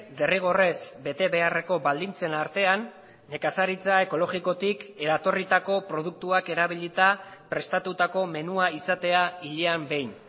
derrigorrez betebeharreko baldintzen artean nekazaritza ekologikotik eratorritako produktuak erabilita prestatutako menua izatea hilean behin